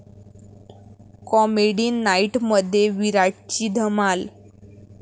comedy नाईट'मध्ये विराटची धमाल